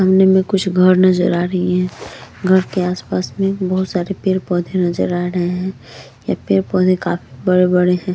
सामने में कुछ घर नज़र आ रही हैं घर के आस-पास में बहुत सारे पेड़-पौधे नज़र आ रहे हैं यह पेड़-पौधे काफी बड़े-बड़े हैं।